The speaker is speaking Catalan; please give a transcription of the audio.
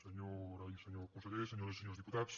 senyora i senyor consellers senyores i senyors diputats